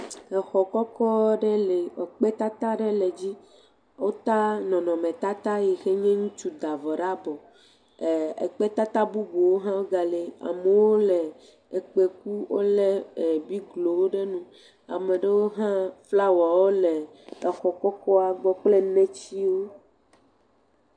Exɔ kɔkɔ ɖe li ekpe tata aɖe le ezi. Wota nɔnɔmre tata yi ke nye ŋutsu da bɔ ɖe avɔ, eh ekpe tata bubuwo ga li, amewo le ekpe kum, wole biglowo ɖe nu. Ame ɖewo hã, flawɔ wole le exɔ kɔkɔa gbɔ kple netsiwo.